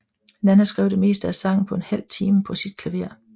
Nanna skrev det meste af sangen på en halv time på sit klaver